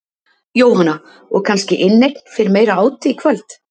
Jóhanna: Og kannski inneign fyrir meira áti í kvöld?